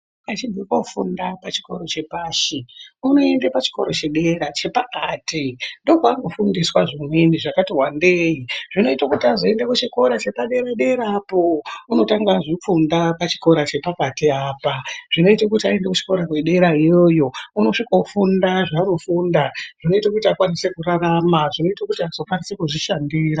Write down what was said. Achibve kofunda pachikoro chepashi unoende pachikoro chedera chepakati ndoo paanofundiswa zvimweni zvakati wandei zvinoita kuti azoende kuchikoro chepa dera dera apoo unotanga wazvifunda pachikoro chepakati apaa zvinoita kuti aende kuchikora kwedera iyoyo unosvika ofunda zvaanofunda zvinoita kuti akwanise kurarama zvinoita kuti azokwanise kuzozvishandira.